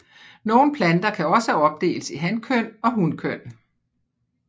Nogen planter kan også opdeles i hankøn og hunkøn